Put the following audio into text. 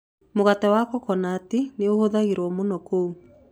Mũgate wa coconut nĩ ũhũthagĩrũo mũno kũu.